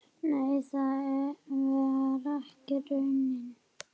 Nei, það var ekki raunin.